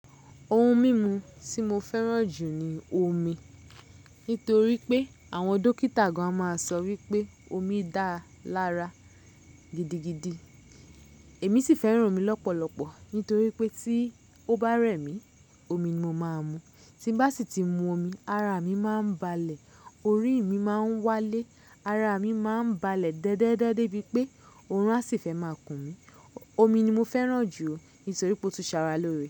Ohun mímu tí mo fẹ́ràn jù ni omi. Nítorí pé àwọn dókítà gan-an máa ń sọ wípé omi da lára gidigidi. Èmi sì fẹ́ràn omi lọ́pọ̀lọpọ̀ nítorí pé tí ó bá rẹ̀ mí, omi ni mo máa ń mu. Tí n bá sì ti mu omi, ara mi máa ń balẹ̀, orí mi máa ń wálé, ara mi máa ń balẹ̀ dẹ́dẹ́dẹ́dẹ́ de bí pé oorun a sì fẹ́ máa kùn mí. Omi ni mo fẹ́ràn jù, nítorí pé ó tún ṣàrà lóore.